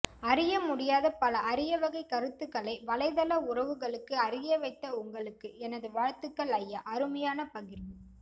அறிய முடியாத பல அரியவகை கருத்துக்களை வலைத்தள உறவுகளுக்கு அறியவைத்த உங்களுக்கு எனது வாழ்த்துக்கள் ஐயா அருமையான பகிர்வு